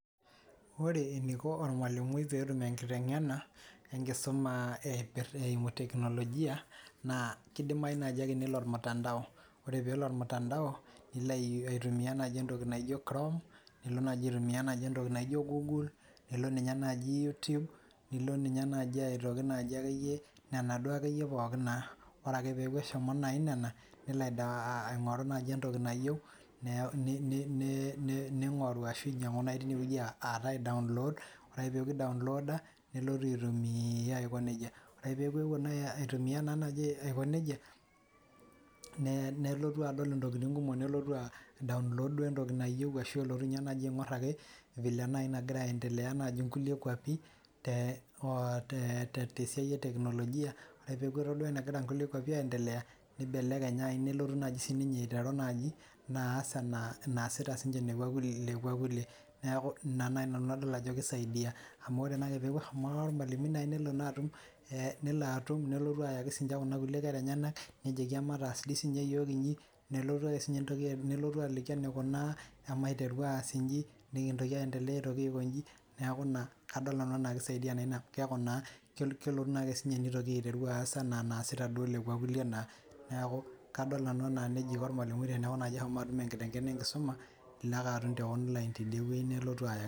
Ore eniko ormalimui peyie etum enkiteng'ena, enkisuma eimu teknojia, naa keidamayu naji ake nelo ormutandao, ore pee elo ormutandao nilo atumia entoki naijo naji chrome nilo aitumia naji entoki naijo google ilo naji youtube, nilo naji aitoki naji ekeyie nena duakeyie pookin naa, ore naji eshomo pookin nena nelo aingoru naji entoki nayeu ning'oru ashu inyang'u alo aaii download ore ake peeku ii download aa nelotu aitumia aiko neija. ore peeku euo atumia aiko neija nelotu adol intokitin kumok nelotu aii download naaduo entoki nayeu ashu elotu naji aing'or ake ina naji nagira aendelea toonkulie kuapin tee siai ee teknojia ore peeku etodua enegira nkulie kuapin aaa endelea nibelekeny nelotu najii sii ninye aiteru naa aas enasita naji nkulie kuapin nikua kulie. Neeku ina naji nanu adol ajo kii saidia. Amu ore naake peeku ehomo emalimui nelo naji atum nelo atum nelotu sii naji ayaki kuna kulie kera enyanak nijoki amataas sii ninche naji iyiok ijin, nelotu naji ake sii ninyee entoki nelotu aliki eneikunaa emaiteru aas ijin nikintoki aa endelea ako ijin neeku ina adol nanu anaa kii saidia naa ina. Keeku naa kelotu naake si ninye nelotu aitoki aas anaa anaasita duo lekua kulie. Neeku kadol nanu enaa neija iko ormalimui teeneku naji eshomo edumu enkiteng'ena enkisuma ilo ake atum tee online tideweji nelotu ayau.